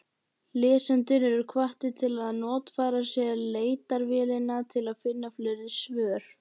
Lesendur eru hvattir til að notfæra sér leitarvélina til að finna fleiri svör.